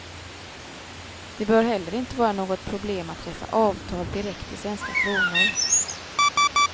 Det bör heller inte vara något problem att träffa avtal direkt i svenska kronor.